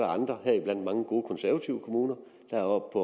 andre heriblandt mange gode konservative kommuner der er oppe